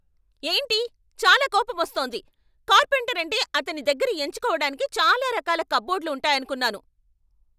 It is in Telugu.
ఏంటీ? చాలా కోపమొస్తోంది! కార్పెంటర్ అంటే అతని దగ్గర ఎంచుకోవటానికి చాలా రకాల కప్బోర్డ్లు ఉంటాయనుకున్నాను.